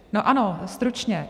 No ano, stručně.